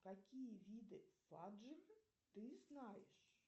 какие виды фадж ты знаешь